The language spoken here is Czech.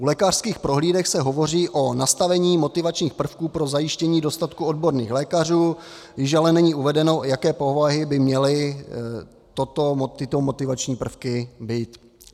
U lékařských prohlídek se hovoří o nastavení motivačních prvků pro zajištění dostatku odborných lékařů, již ale není uvedeno, jaké povahy by měly tyto motivační prvky být.